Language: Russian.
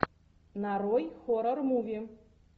нарой хоррор муви